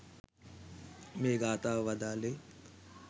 මේ ගාථාව වදාළේ.